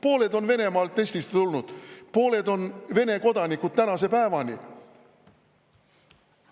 Pooled on Venemaalt Eestisse tulnud, pooled on Vene kodanikud tänase päevani.